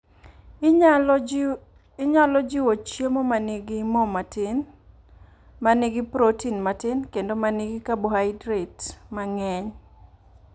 Inyalo jiwo chiemo ma nigi mo matin, ma nigi protin matin, kendo ma nigi kabohaidrat mang’eny.